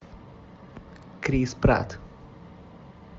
крис пратт